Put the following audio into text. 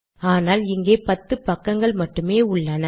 ஆனால் இங்கே 10 பக்கங்கள் மட்டுமே உள்ளன